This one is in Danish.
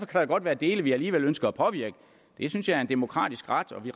kan der godt være dele vi alligevel ønsker at påvirke det synes jeg er en demokratisk ret og vi